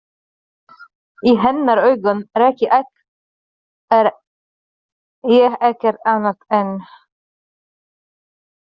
Í hennar augum er ég ekkert annað en.